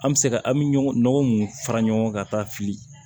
An bɛ se ka an bɛ ɲɔgɔn mun fara ɲɔgɔn kan ka taa fili